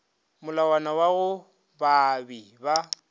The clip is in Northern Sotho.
molawana wa go baabi ba